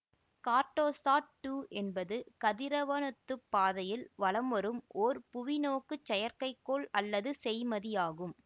Cartosat two என்பது கதிரவனொத்துப் பாதையில் வலம்வரும் ஓர் புவிநோக்குச் செயற்கைக்கோள் அல்லது செய்மதியாகும்